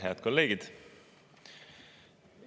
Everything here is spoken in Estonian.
Head kolleegid!